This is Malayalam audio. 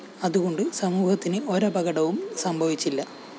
അതുകൊണ്ട് സമൂഹത്തിന് ഒരപകടവും സംഭവിച്ചില്ല